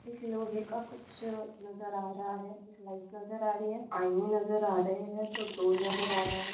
एक लोहे का कुछ नजर आ रहा है एक लाईट नजर आ रही है आईने नजर आ रहे है तो डोर नजर आ रही है।